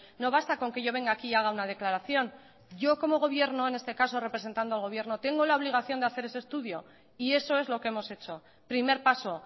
no basta con que yo venga aquí y haga una declaración yo como gobierno en este caso representando al gobierno tengo la obligación de hacer ese estudio y eso es lo que hemos hecho primer paso